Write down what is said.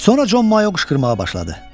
Sonra Con Mayo qışqırmağa başladı.